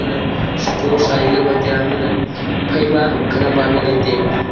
seko sa san ley tai ya phe ma khanak ma mai ngan tailey ya eima.